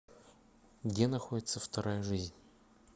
где находится вторая жизнь